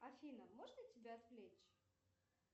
афина можно тебя отвлечь